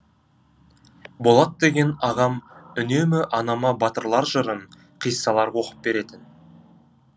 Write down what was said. болат деген ағам үнемі анама батырлар жырын қиссалар оқып беретін